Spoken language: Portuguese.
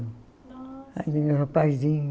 Nossa Era um rapazinho.